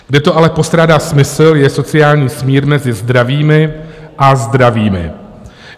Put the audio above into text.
Kde to ale postrádá smysl, je sociální smír mezi zdravými a zdravými.